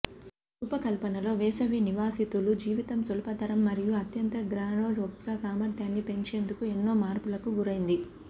దాని రూపకల్పనలో వేసవి నివాసితులు జీవితం సులభతరం మరియు అత్యంత గ్రీన్హౌస్ యొక్క సామర్థ్యాన్ని పెంచేందుకు ఎన్నో మార్పులకు గురైంది